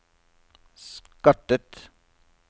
skattet